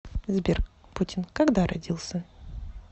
сбер путин когда родился